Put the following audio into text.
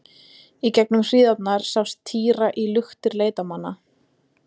Í gegnum hríðina sást týra í luktir leitarmanna.